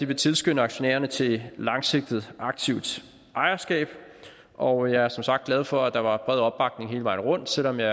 vil tilskynde aktionærerne til langsigtet aktivt ejerskab og jeg er som sagt glad for at der var bred opbakning hele vejen rundt og selv om jeg